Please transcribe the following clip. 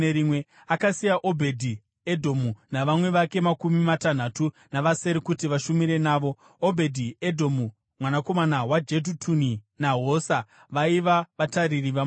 Akasiya Obhedhi-Edhomu navamwe vake makumi matanhatu navasere kuti vashumire navo. Obhedhi-Edhomu mwanakomana waJedhutuni naHosa vaiva vatariri vamasuo.